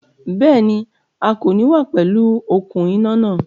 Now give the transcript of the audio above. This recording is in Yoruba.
Béèni, A kò ní wá pẹ̀lú okùn iná náà